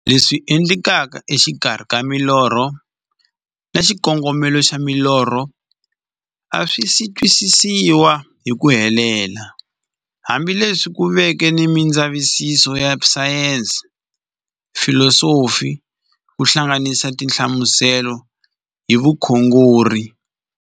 Leswi endlekaka exikarhi ka milorho na xikongomelo xa milorho a swisi twisisiwa hi ku helela, hambi leswi ku veke na mindzavisiso ya sayensi, filosofi ku hlanganisa na tinhlamuselo hi vukhongori.